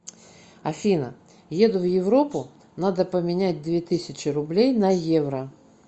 афина еду в европу надо поменять две тысячи рублей на евро